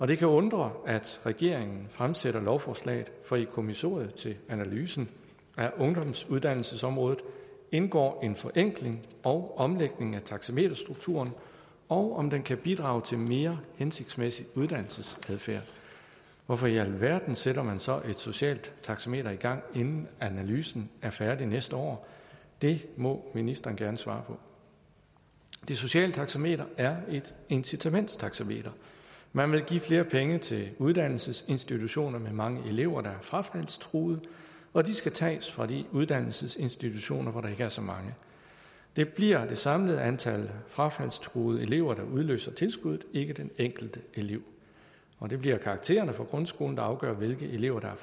det kan undre at regeringen fremsætter lovforslaget for i kommissoriet til analysen af ungdomsuddannelsesområdet indgår en forenkling og omlægning af taxameterstrukturen og om den kan bidrage til mere hensigtsmæssig uddannelsesadfærd hvorfor i alverden sætter man så et socialt taxameter i gang inden analysen er færdig næste år det må ministeren gerne svare på det sociale taxameter er et incitamentstaxameter man vil give flere penge til uddannelsesinstitutioner med mange elever der er frafaldstruede og de skal tages fra de uddannelsesinstitutioner hvor der ikke er så mange det bliver det samlede antal frafaldstruede elever der udløser tilskuddet ikke den enkelte elev og det bliver karaktererne fra grundskolen der afgør hvilke elever